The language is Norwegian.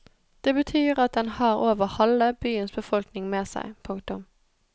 Det betyr at den har over halve byens befolkning med seg. punktum